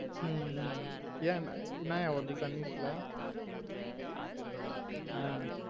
ஹம் உம் ஏன் என்னைய ஓடுது sun news ல ஆஹ்